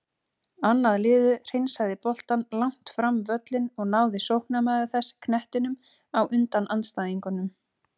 Annað liðið hreinsaði boltann langt fram völlinn og náði sóknarmaður þess knettinum á undan andstæðingunum.